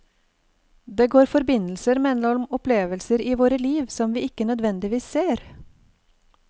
Det går forbindelser mellom opplevelser i våre liv som vi ikke nødvendigvis ser.